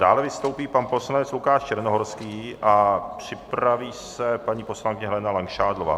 Dále vystoupí pan poslanec Lukáš Černohorský a připraví se paní poslankyně Helena Langšádlová.